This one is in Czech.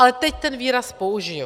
Ale teď ten výraz použiji.